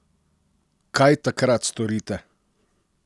Kaj takrat storite?